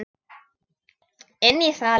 Inn í salinn.